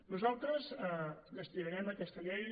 nosaltres destinarem aquesta llei